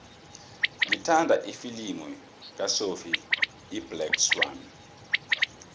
ngithanda ifilimu kasophie iblack swann